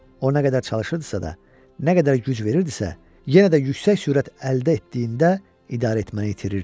O nə qədər çalışırdısa da, nə qədər güc verirdisə, yenə də yüksək sürət əldə etdiyində idarə etməni itirirdi.